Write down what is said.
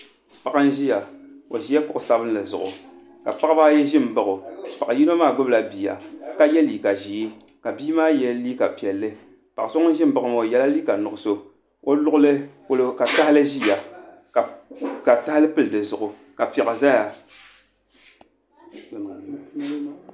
Paɣa n ʒiya o ʒila kuɣu sabinli zuɣu ka paɣaba ayi ʒi n ba o a paɣa yino maa gbubila bia ka yɛ liiga ʒiɛ ka bia maa yɛ liiga piɛlli paɣa so ŋun ʒi n ba o maa o yɛla liiga nuɣso o luɣuli polo ka tahali ʒia a ka tahali pili dizuɣu ka piɛɣu ʒɛya